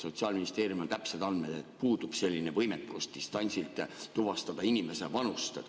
Sotsiaalministeeriumil on täpsed andmed, et puudub selline võimekus distantsilt tuvastada inimese vanust.